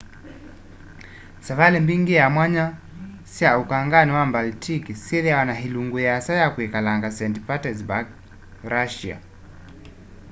savali mbingi sya mwanya sya ukangani wa baltic syithiawa na ilungu yiasa ya kwikalanga st petersburg russia